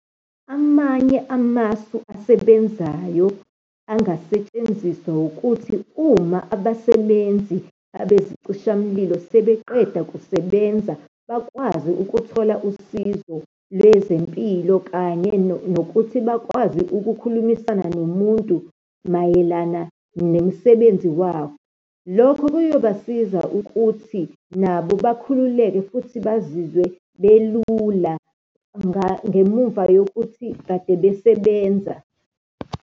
Amanye amasu asebenzayo angasetshenziswa, ukuthi uma abasebenzi abezicishamlilo sebeqeda kusebenza, bakwazi ukuthola usizo lwezempilo, kanye nokuthi bakwazi ukukhulumisana nomuntu mayelana nemisebenzi wawo. Lokho kuyobasiza ukuthi nabo bakhululeke futhi bazizwe belula ngemumva yokuthi kade besebenza.